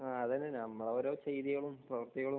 ആഹ് അതന്നെ നമ്മെ ഓരോ ചെയ്തികളും പ്രവൃത്തികളും